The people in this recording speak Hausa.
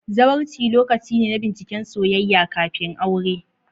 Zawarci lokaci ne na binciken soyayya kafin aure.